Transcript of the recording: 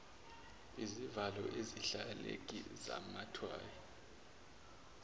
izivalo ezilahlekile zamathayi